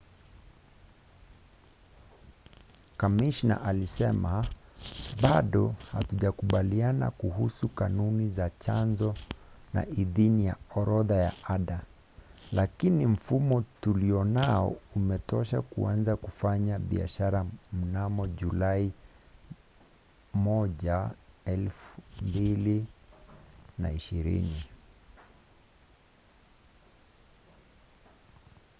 kamishna alisema bado hatujakubaliana kuhusu kanuni za chanzo na idhini ya orodha ya ada lakini mfumo tulionao umetosha kuanza kufanya biashara mnamo julai 1 2020